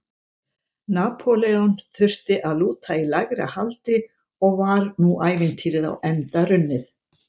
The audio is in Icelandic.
Napóleon þurfti að lúta í lægra haldi og var nú ævintýrið á enda runnið.